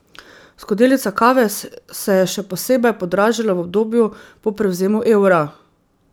Skodelica kave se je še posebej podražila v obdobju po prevzemu evra.